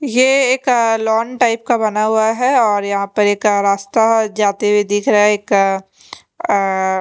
ये एक अ लॉन टाइप का बना हुआ है और यहाँ पर एक रास्ता जाते हुए दिख रहा है एक अ--